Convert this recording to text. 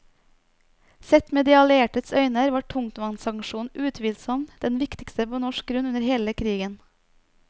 Sett med de alliertes øyne var tungtvannsaksjonen utvilsomt den viktigste på norsk grunn under hele krigen.